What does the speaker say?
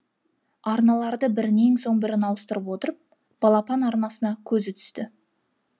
арналарды бірінен соң бірін ауыстырып отырып балапан арнасына көзі түсті